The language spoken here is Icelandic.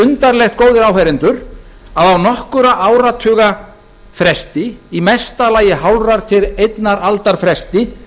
undarlegt góðir áheyrendur að á nokkurra áratuga fresti í mesta lagi hálfrar til einnar aldar fresti